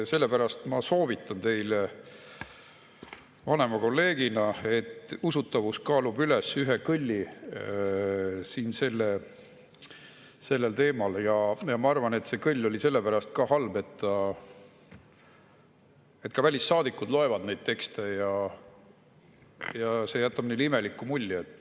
Sellepärast ma soovitan teile vanema kolleegina, et usutavus kaalub üles ühe kõlli siin sellel teemal, ja ma arvan, et see kõll oli ka sellepärast halb, et ka välissaadikud loevad neid tekste ja see jätab neile imeliku mulje.